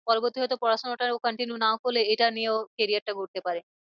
পরবর্তী হয় তো পড়াশোনাটা ও continue নাও করলে এটা নিয়ে ও career টা গড়তে পারে।